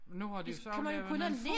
Nu har de jo så lavet nogen fod